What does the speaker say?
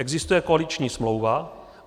Existuje koaliční smlouva.